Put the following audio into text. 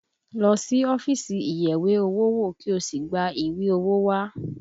Lọ sí ọ́fíìsì ìyẹ̀wé-owó-wò kí o sì gba ìwé owó wá!